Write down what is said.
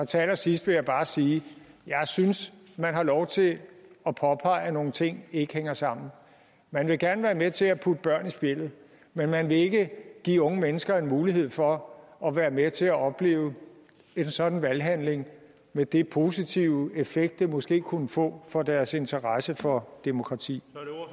til allersidst vil jeg bare sige at jeg synes man har lov til at påpege at nogle ting ikke hænger sammen man vil gerne være med til at putte børn i spjældet men man vil ikke give unge mennesker en mulighed for at være med til at opleve en sådan valghandling med den positive effekt det måske kunne få for deres interesse for demokrati